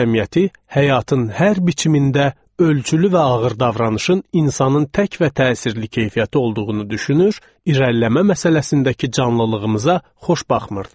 Cəmiyyəti həyatın hər biçimində ölçülü və ağır davranışın insanın tək və təsirli keyfiyyəti olduğunu düşünür, irəliləmə məsələsindəki canlılığımıza xoş baxmırdı.